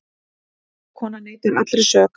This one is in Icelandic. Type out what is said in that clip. Kennslukonan neitar allri sök